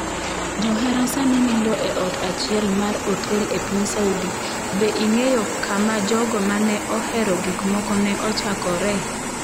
Johera sani nindo e ot achiel mar otel e piny Saudi Be ing’eyo kama jogo ma ne ohero gik moko ne ochakore?